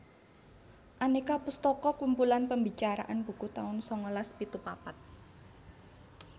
Aneka pustaka kumpulan pembicaraan buku taun sangalas pitu papat